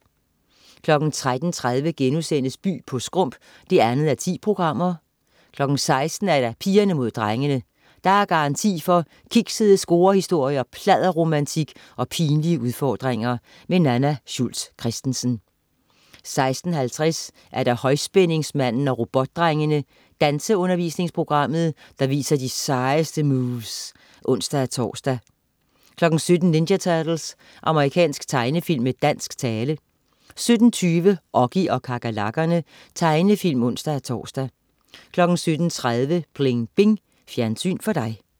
13.30 By på skrump 2:10* 16.00 Pigerne mod drengene. Der er garanti for kiksede scorehistorier, pladderromantik og pinlige udfordringer. Nanna Schultz Christensen 16.50 Højspændingsmanden og Robotdrengene. Danseundervisningsprogrammet, der viser de sejeste moves (ons-tors) 17.00 Ninja Turtles. Amerikansk tegnefilm med dansk tale 17.20 Oggy og kakerlakkerne. Tegnefilm (ons-tors) 17.30 Pling Bing. Fjernsyn for dig